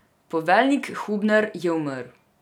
Poveljnik Hubner je umrl.